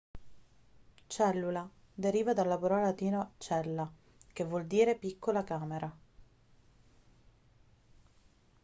cellula deriva dalla parola latina cella che vuol dire piccola camera